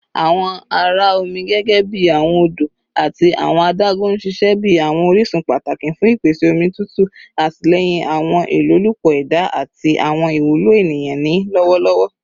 Awọn ara omi gẹgẹbi awọn odo ati awọn adagun n ṣiṣẹ bi awọn orisun pataki fun ipese omi tutu, atilẹyin awọn ilolupo eda ati awọn iwulo eniyan ni lọwọlọwọ